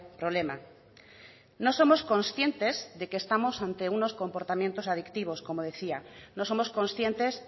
problema no somos conscientes de que estamos ante unos comportamientos adictivos como decía no somos conscientes